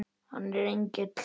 Hann er engill.